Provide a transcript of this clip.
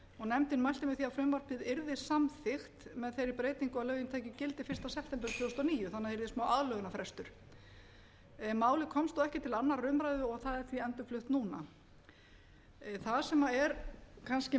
nefndin mælti með því að frumvarpið yrði samþykkt með þeirri breytingu að lögin tækju gildi fyrsta september tvö þúsund og níu þannig að það yrði smáaðlögunarfrestur málið komst þó ekki til annarrar umræðu og er því endurflutt núna það sem er kannski